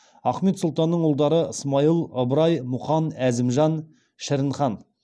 ахмет сұлтанның ұлдары смайыл ыбырай мұқан әзімжан шірінхан